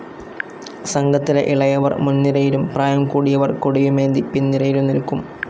സംഘത്തിലെ ഇളയവർ മുൻനിരയിലും, പ്രായം കൂടിയവർ കൊടിയുമേന്തി പിൻനിരയിലും നിൽക്കും.